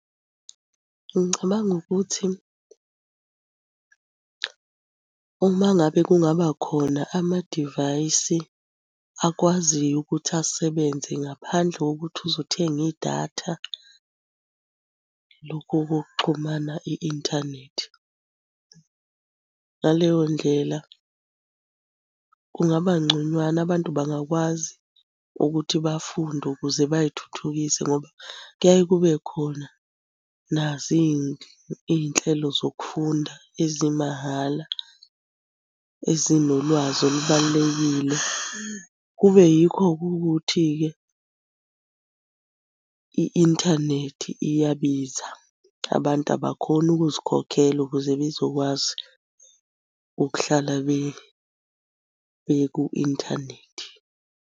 Ngicabanga ukuthi uma ngabe kungaba khona amadivayisi akwaziyo ukuthi asebenze ngaphandle kokuthi uze uthenge idatha, lokhu kokuxhumana i-inthanethi. Ngaleyo ndlela kungabangconywana abantu bangakwazi ukuthi bafunde ukuze bay'thuthukise ngoba kuyaye kube khona azo iy'nhlelo zokufunda ezimahhala, ezinolwazi olubalulekile. Kube yikho-ke ukuthi-ke i-inthanethi iyabiza abantu abakhoni ukuzikhokhela ukuze bezokwazi ukuhlala beku-inthanethi.